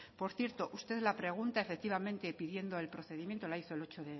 por cierto ustedes la pregunta pidiendo el procedimiento la hizo el ocho